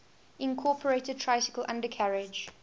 incorporated tricycle undercarriage